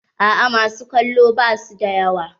A'a ma su kallo basu da yawa.